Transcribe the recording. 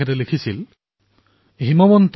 পেন্নিনডা জনকৰয়ানু যশুভালেণ্ডানু